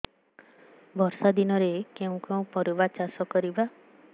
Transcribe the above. ବର୍ଷା ଦିନରେ କେଉଁ କେଉଁ ପରିବା ଚାଷ କରିବା